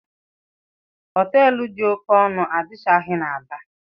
Họteelụ dị oké ọnụ adịchaghị n'Aba.